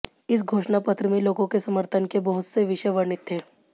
इस घोषणापत्र में लोगों के समर्थन के बहुत से विषय वर्णित थे